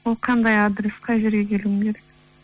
ол қандай адрес қай жерге келуім керек